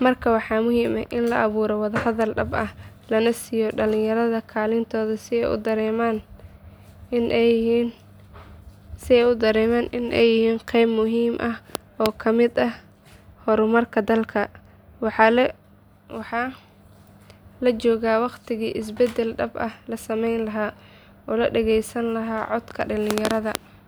Marka waxaa muhiim ah in la abuuro wada hadal dhab ah, lana siiyo dhalinyarada kaalintooda si ay u dareemaan in ay yihiin qeyb muhiim ah oo ka mid ah horumarka dalka. Waxaa la joogaa waqtigii isbeddel dhab ah la sameyn lahaa oo la dhageysan lahaa codka dhalinyarada.